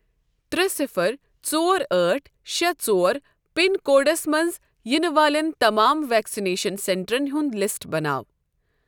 ترٛےٚ صِفَر ژور ٲٹھ شےٚ ژور پِن کوڈس منٛز یِنہٕ والؠن تمام وؠکسِنیشن سؠنٹَرَن ہنٛد لِسٹ بنٲیو